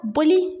Boli